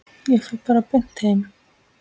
Ég fer bara beint heim.